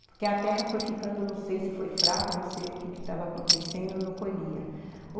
Porque a terra foi ficando, não sei se foi fraca, não sei o que estava acontecendo, não colhia.